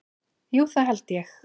Jú, það held ég